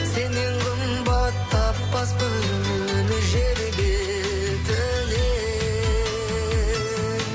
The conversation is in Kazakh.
сеннен қымбат таппаспын жер бетінен